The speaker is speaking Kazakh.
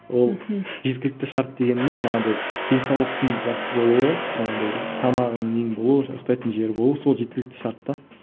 ол жеткілікті шарт дегеніміз манағыдай денсаулықтың жақсы болуы манағыдай тамағың нең болуы ұйқтайтын жер болуы сол жеткілікті шарт та